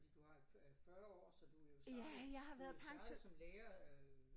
Fordi du har øh 40 år så du jo startet du jo startet som lærer øh